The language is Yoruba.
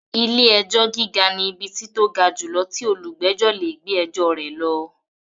Ilé-ẹjọ́ gíga ni ibi tí tó ga jùlọ tí olùgbẹ̀jọ́ lè gbé ẹjọ rẹ̀ lọ.